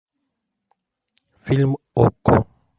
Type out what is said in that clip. фильм окко